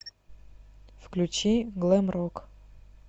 включи глэм рок